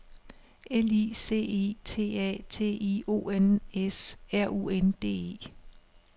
L I C I T A T I O N S R U N D E